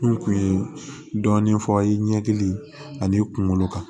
N kun ye dɔɔnin fɔ i ɲɛkili ani kunkolo kan